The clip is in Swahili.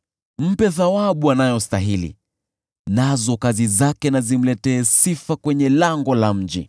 Mpe thawabu anayostahili, nazo kazi zake na zimletee sifa kwenye lango la mji.